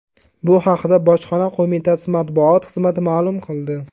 Bu haqda Bojxona qo‘mitasi matbuot xizmati ma’lum qildi .